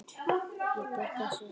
Ég bjargar þessu á nóinu.